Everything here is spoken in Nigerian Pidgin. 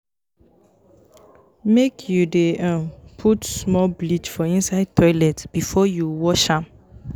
Make you dey um put small bleach for inside toilet before you wash am.